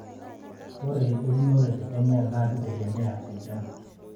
ore eunore te Kenya naa kitegemeya enchan